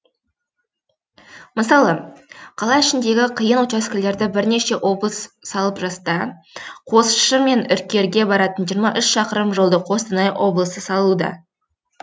мысалы қала ішіндегі қиын учаскелерді бірнеше облыс салып жаста қосшы мен үркерге баратын жиырма үш шақырым жолды қостанай облысы салуда